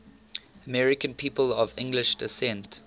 american people of english descent